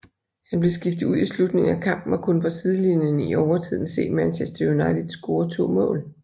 Han blev skiftet ud i slutningen af kampen og kunne fra sidelinjen i overtiden se Manchester United score to mål